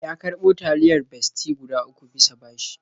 Ya karɓo taliyar Bestie guda uku bisa bashi.